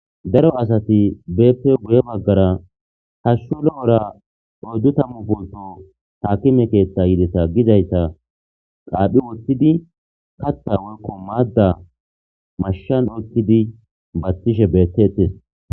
daro asati beeppe guye baggara hashshu lo'ora doddu tammu polto haakime keeththa yideta gizaysa qaaphi woththidi kata woykko maadda mashshan oykkidi baththishe beettettes